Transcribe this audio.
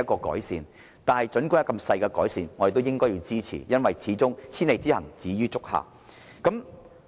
然而，即使只帶來些微改善，我們都應支持，因為千里之行，始於足下。